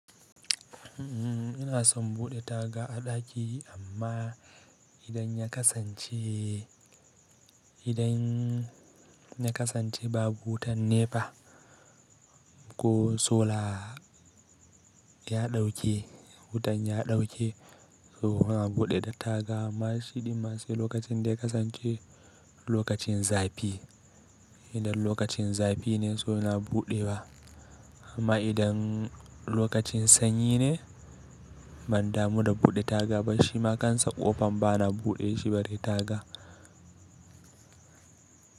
Ina son buɗe taga a ɗaki amma idan ya kasance, idan ya kasance babu wutan nepa ko sola ya ɗauke, wutan ya ɗauke to ina buɗe taga. Amma shi ɗin ma sai lokacin da ya kasance lokacin zafi. Idan lokacin zafi ne, so ina buɗewa. Amma idan lokacin sanyi ne, ban damu da buɗe taga ba. Shima kansa ƙofan bana buɗe shi bare taga.